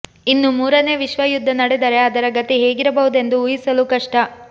ಇನ್ನು ಮೂರನೇ ವಿಶ್ವಯುದ್ಧ ನಡೆದರೆ ಅದರ ಗತಿ ಹೇಗಿರಬಹುದೆಂದು ಊಹಿಸಲೂ ಕಷ್ಟ